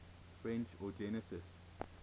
french eugenicists